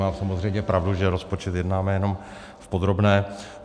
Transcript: Má samozřejmě pravdu, že rozpočet jednáme jenom v podrobné.